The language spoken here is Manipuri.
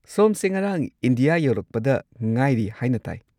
ꯁꯣꯝꯁꯦ ꯉꯔꯥꯡ ꯏꯟꯗꯤꯌꯥ ꯌꯧꯔꯛꯄꯗ ꯉꯥꯏꯔꯤ ꯍꯥꯏꯅ ꯇꯥꯏ꯫